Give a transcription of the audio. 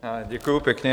Děkuji pěkně.